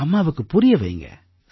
அம்மாவுக்குப் புரிய வையுங்க